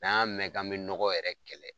N'an y'a mɛn k'an be nɔgɔ yɛrɛ kɛlɛ